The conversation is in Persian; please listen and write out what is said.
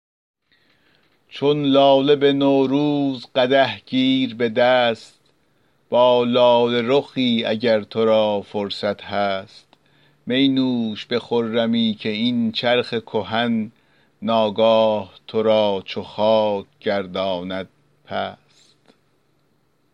چون لاله به نوروز قدح گیر به دست با لاله رخی اگر تو را فرصت هست می نوش به خرمی که این چرخ کهن ناگاه تو را چو خاک گرداند پست